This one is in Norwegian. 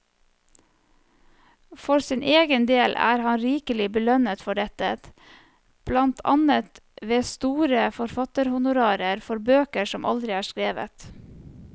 For sin egen del er han rikelig belønnet for dette, blant annet ved store forfatterhonorarer for bøker som aldri er skrevet.